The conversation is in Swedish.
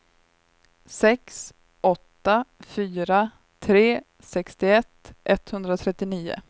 sex åtta fyra tre sextioett etthundratrettionio